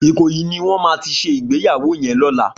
Ikoyi niwòn má ti sé igbéyàwó yèn lòlá